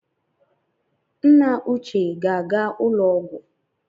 Nna uche ga-aga ụlọ ọgwụ